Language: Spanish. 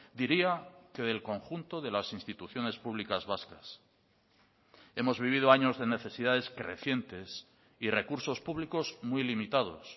diría que del conjunto de las instituciones públicas vascas hemos vivido años de necesidades crecientes y recursos públicos muy limitados